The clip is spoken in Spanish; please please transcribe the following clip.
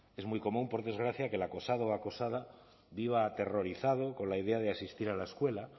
es muy común por desgracia que el acosado o acosada viva aterrorizado con la idea de asistir a la escuela